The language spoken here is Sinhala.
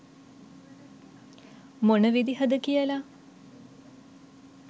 මොන විදිහද කියලා